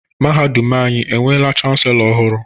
Mahadum anyị enweela Chanselọ ọhụrụ?